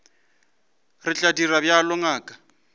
re tla dira bjalo ngaka